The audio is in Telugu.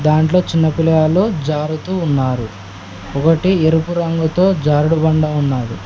దాంట్లో చిన్నపిల్లలు జారుతూ ఉన్నారు ఒకటి ఎరుపు రంగుతో జారుడుబండ ఉన్నాది.